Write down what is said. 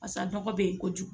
Basa nɔgɔ be ye kojugu